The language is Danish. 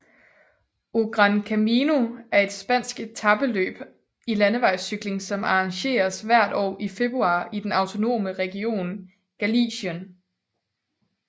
O Gran Camiño er et spansk etapeløb i landevejscykling som arrangeres hvert år i februar i den autonome region Galicien